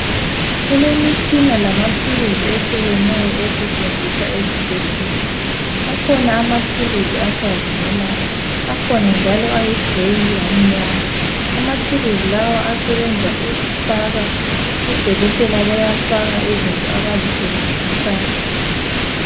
Kulemitshina lamathuluzi ehlukeneyo esetshenziswa esibhedlela. Akhona amathuluzi acazimulayo, akhona njalo ayi grey lamnyama. Amathuluzi lawa asebenza ukufaka, odokotela bayafaka izinto abayisebenzisayo.